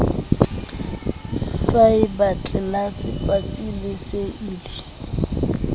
faeba tlelase patsi le seili